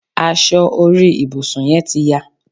Aṣọ orí ibùsùn yẹ́n ti ya